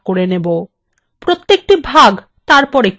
প্রত্যেকটি ভাগ তারপর একটা table হয়ে যাবে